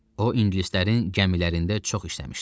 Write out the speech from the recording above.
O, ingilislərin gəmilərində çox işləmişdi.